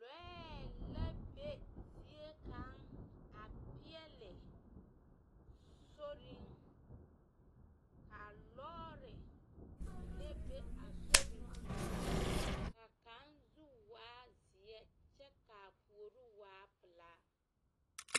Lͻԑ la be ziekaŋ a peԑle soriŋ. Kaa lͻͻre mine be a sori zu ka kaŋ zu waa seԑ kyԑ kaa puori waa pelaa.